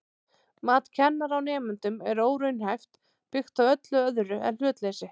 Mat kennara á nemendum er óraunhæft, byggt á öllu öðru en hlutleysi.